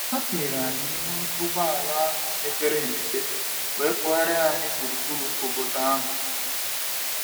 Ha tinyere anyị n’ime ụgbọ ala mepere emepe wee kpụria anyị gburugburu obodo ahụ.